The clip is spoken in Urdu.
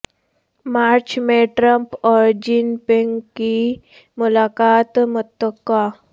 مارچ میں ٹرمپ اور جن پنگ کی ملاقا ت متوقع